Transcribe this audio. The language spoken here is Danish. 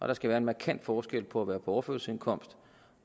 der skal være en markant forskel på at være på overførselsindkomst